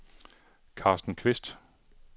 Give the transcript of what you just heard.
Carsten Kvist